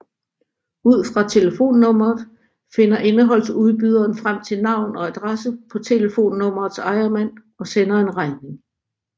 Ud fra telefonnummeret finder indholdsudbyderen frem til navn og adresse på telefonnummerets ejermand og sender en regning